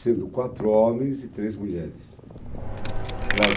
sendo quatro homens e três mulheres.